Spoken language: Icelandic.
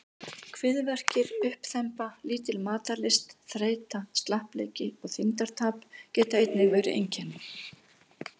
Kviðverkir, uppþemba, lítil matarlyst, þreyta, slappleiki og þyngdartap geta einnig verið einkenni.